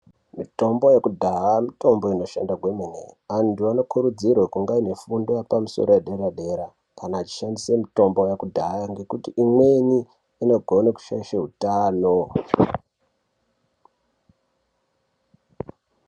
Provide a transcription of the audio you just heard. Mitombo yekudhaya mitombo inoshanda kwemene .Antu anokurudzirwe kunge aine fundo yepamusoro yedera-dera ,kana achishandise mitombo yakudhaya, ngekuti imweni inogone kushaishe utano.